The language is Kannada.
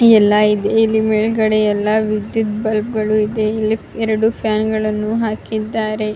ಈ ಎಲ್ಲ ಇದೆ ಮೇಲ್ಗಡೆ ಎಲ್ಲ ವಿದ್ಯುತ್ ಬಲ್ಬಗಳು ಇದೆ ಇಲ್ಲಿ ಎರಡು ಫ್ಯಾನ್ ಗಳನ್ನು ಹಾಕಿದ್ದಾರೆ.